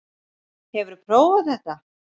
Hefurðu prófað þetta?